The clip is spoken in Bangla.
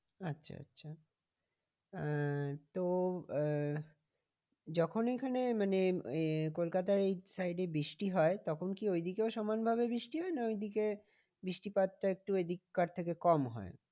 আচ্ছা আচ্ছা আহ তো আহ যখন এখানে মানে কলকাতায় এই side এ বৃষ্টি হয় তখন কি ওই দিকেও সমান ভাবে বৃষ্টি হয় না ওইদিকে বৃষ্টি পাতটা একটু এদিক কার থেকে কম হয়?